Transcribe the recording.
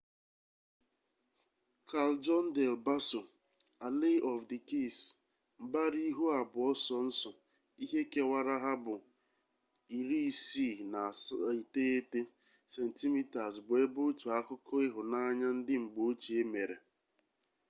callejon del bassoalley of the kiss. mbara ihu abuo sonso ihe kewara ha bu 69 centimeters bu ebe otu akuko ihunanya ndi mgbe ochie mere